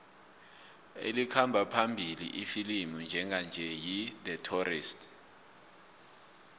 elikhamba phambili ifilimu njenganje yi the tourist